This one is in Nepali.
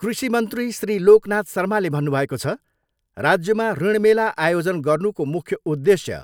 कृषि मन्त्री श्री लोकनाथ शर्माले भन्नुभएको छ, राज्यमा ऋण मेला आयोजन गर्नुको मुख्य उद्देश्य